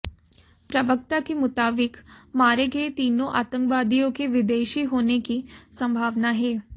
प्रवक्ता के मुताबिक मारे गये तीनों आतंकवादियों के विदेशी होने की संभावना है